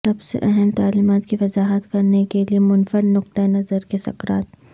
سب سے اہم تعلیمات کی وضاحت کرنے کے لئے منفرد نقطہ نظر کے سکرات